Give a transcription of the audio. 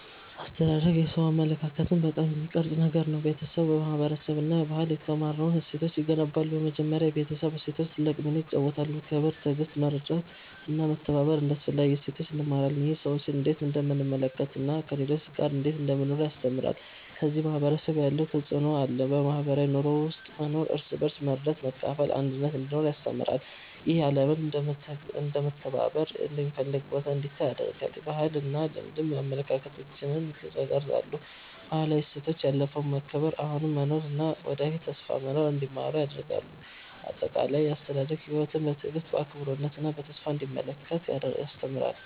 አስተዳደግ የሰው አመለካከትን በጣም የሚቀርጽ ነገር ነው። ቤተሰብ፣ ማህበረሰብ እና ባህል የተማርነውን እሴቶች ይገነባሉ። በመጀመሪያ የቤተሰብ እሴቶች ትልቅ ሚና ይጫወታሉ። ክብር፣ ትዕግሥት፣ መርዳት እና መተባበር እንደ አስፈላጊ እሴቶች እንማራለን። ይህ ሰዎችን እንዴት እንደምንመለከት እና ከሌሎች ጋር እንዴት እንደምንኖር ያስተምራል። ከዚያ ማህበረሰብ ያለው ተፅዕኖ አለ። በማህበራዊ ኑሮ ውስጥ መኖር እርስ በርስ መርዳት፣ መካፈል እና አንድነት እንዲኖር ያስተምራል። ይህ ዓለምን እንደ መተባበር የሚፈልግ ቦታ እንዲታይ ያደርጋል። ባህልና ልማድም አመለካከታችንን ይቀርጻሉ። ባህላዊ እሴቶች ያለፈውን መከብር፣ አሁኑን መኖር እና ወደፊት ተስፋ መኖር እንዲማሩ ያደርጋሉ። አጠቃላይ፣ አስተዳደግ ሕይወትን በትዕግሥት፣ በአክብሮት እና በተስፋ እንዲመለከት ያስተምራል።